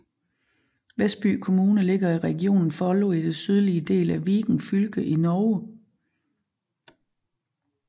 Vestby kommune ligger i regionen Follo i den sydlige del af Viken fylke i Norge